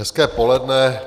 Hezké poledne.